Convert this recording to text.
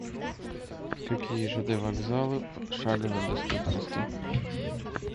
какие жд вокзалы в шаговой доступности